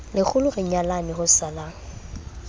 lekgolo re nyalane ho salang